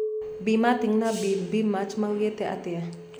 Bi Martin na Bi Birnbach maugite atia?